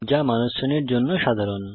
যা মানুষ শ্রেণীর জন্য সাধারণ